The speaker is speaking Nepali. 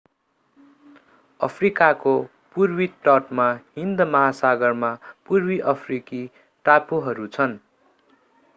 अफ्रिकाको पूर्वी तटमा हिन्द महासागरमा पूर्वी अफ्रिकी टापुहरू छन्